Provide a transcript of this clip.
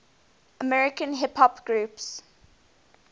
american hip hop groups